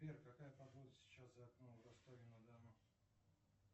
сбер какая погода сейчас за окном в ростове на дону